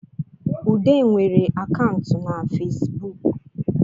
Ude nwere akantụ na Fesibuk